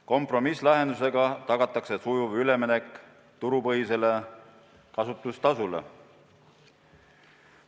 Kompromisslahendusega tagatakse sujuv üleminek turupõhisele kasutustasule.